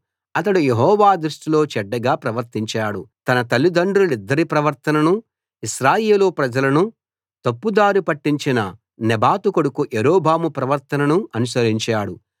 అతడు యెహోవా దృష్టిలో చెడ్డగా ప్రవర్తించేవాడు తన తలిదండ్రులిద్దరి ప్రవర్తననూ ఇశ్రాయేలు ప్రజలను తప్పుదారి పట్టించిన నెబాతు కొడుకు యరొబాము ప్రవర్తననూ అనుసరించాడు